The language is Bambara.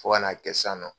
Fo ka n'a kɛ sisan nɔ